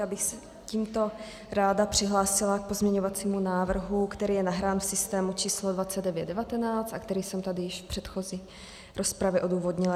Já bych se tímto ráda přihlásila k pozměňovacímu návrhu, který je nahrán v systému číslo 2919 a který jsem tady již v předchozí rozpravě odůvodnila.